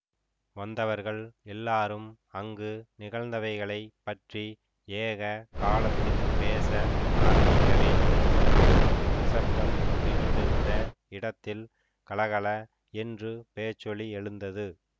வந்தவர்கள் எல்லாரும் அங்கு நிகழ்ந்தவைகளைப் பற்றி ஏக காலத்தில் பேச ஆரம்பிக்கவே சற்றுமுன் நிசப்தம் குடிகொண்டிருந்த இடத்தில் கல கல என்று பேச்சொலி எழுந்தது